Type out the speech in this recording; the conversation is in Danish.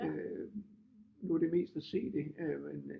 Øh nu er det mest at se det men øh